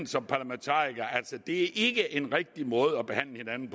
som parlamentarikere altså ikke er en rigtig måde at behandle hinanden